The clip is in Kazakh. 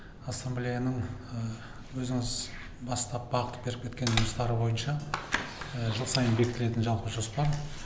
ассамблеяның өзіңіз бастап бағыт беріп кеткен жұмыстары бойынша жыл сайын бекітілетін жалпы жоспар